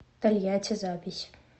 тольятти запись